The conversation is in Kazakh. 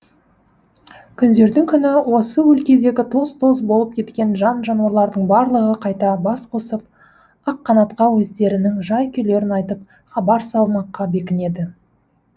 күндердің күні осы өлкедегі тоз тоз болып кеткен жан жануарлардың барлығы қайта бас қосып аққанатқа өздерінің жай күйлерін айтып хабар салмаққа бекінеді